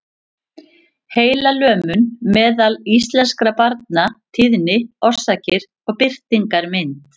Heilalömun meðal íslenskra barna- tíðni, orsakir og birtingarmynd.